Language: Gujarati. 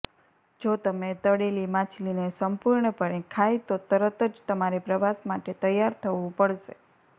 જો તમે તળેલી માછલીને સંપૂર્ણપણે ખાય તો તરત જ તમારે પ્રવાસ માટે તૈયાર થવું પડશે